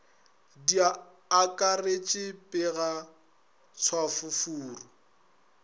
di akaretše pega tšhafo furu